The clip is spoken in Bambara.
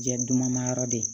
Jɛ duguma yɔrɔ de ye